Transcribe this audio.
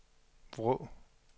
Vrå